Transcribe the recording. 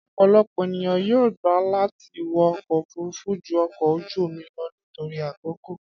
Ọ̀pọ̀lọpọ̀ ènìyàn yóò gbà láti wọ ọkọ̀ òfúrufú ju ọkọ̀ ojú omi lọ nítorí àkókò